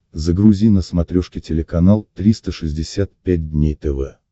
загрузи на смотрешке телеканал триста шестьдесят пять дней тв